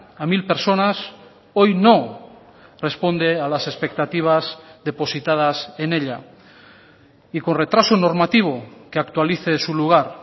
a mil personas hoy no responde a las expectativas depositadas en ella y con retraso normativo que actualice su lugar